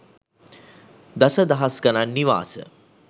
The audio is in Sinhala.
දස දහස් ගණන් නිවාස